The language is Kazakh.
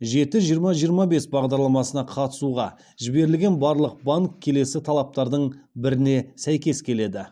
жеті жиырма жиырма бес бағдарламасына қатысуға жіберілген барлық банк келесі талаптардың біріне сәйкес келеді